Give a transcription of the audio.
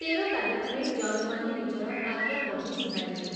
ତେର ତାରିଖରେ ଜଜମାନେ ନିଜର ଆଜ୍ଞା ପଢ଼ି ଶୁଣାଇଲେ।